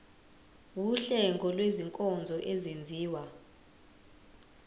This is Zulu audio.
wuhlengo lwezinkonzo ezenziwa